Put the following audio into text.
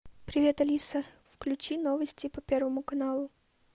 привет алиса включи новости по первому каналу